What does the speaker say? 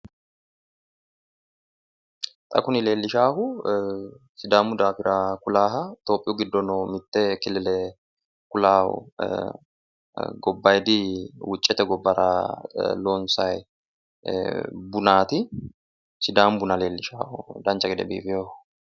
Xa kuni leellishahu sidaamu daafira kulaaha tophiyu giddo nooho mitte killile kulaaho gobbayidi wuccete gobbara loonsayi bunaati sidaamu buna leellisha dancha gede biifeho.